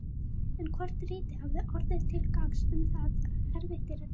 En hvort ritið hafi orðið til gagns, um það er erfitt að dæma.